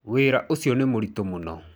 Wĩra ũcio nĩ mũritũ mũno.